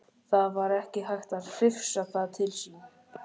Það var ekki hægt að hrifsa það til sín.